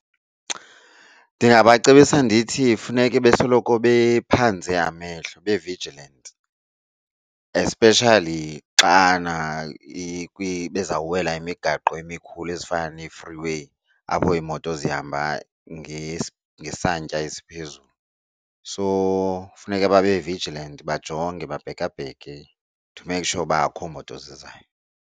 Ndingabacebisa ndithi funeke besoloko bephanze amehlo, be-vigilant, especially xana bezawuwela imigaqo emikhulu ezinkulu ezifana nee-freeway apho iimoto zihamba ngesantya esiphezulu. So funeka babe vigilant bajonge babhekabheke to make sure uba akho moto zizayo.